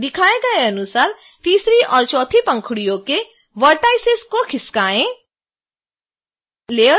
दिखाए गए अनुसार तीसरी और चौथी पंखुड़ियों के vertices को खिसकाएँ